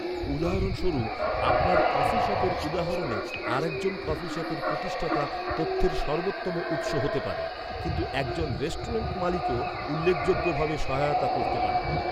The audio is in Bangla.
উদাহরণস্বরূপ, আপনার কফি শপের উদাহরণে আরেকজন কফি শপের প্রতিষ্ঠাতা তথ্যের সর্বোত্তম উৎস হতে পারে, কিন্তু একজন রেস্টুরেন্ট মালিকও উল্লেখযোগ্যভাবে সহায়তা করতে পারে।